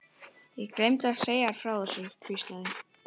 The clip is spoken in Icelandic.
Ég gleymdi að segja þér frá þessu hvíslaði